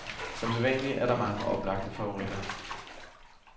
Som sædvanlig er der mange oplagte favoritter.